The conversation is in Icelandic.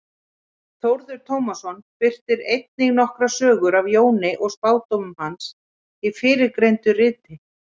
Þórður Tómasson birtir einnig nokkrar sögur af Jóni og spádómum hans í fyrrgreindu riti.